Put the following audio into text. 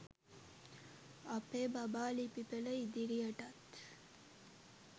අපේ බබා ලිපි පෙළ ඉදිරියටත්